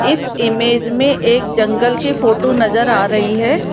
इस इमेज में एक जंगल की फोटो नजर आ रही है।